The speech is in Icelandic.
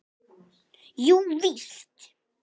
Jú, víst.